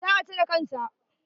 Za a cire kan sa.